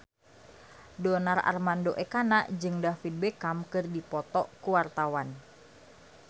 Donar Armando Ekana jeung David Beckham keur dipoto ku wartawan